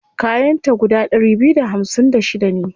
Kayan ta guda ɗari biyu da hamsin da shida ne.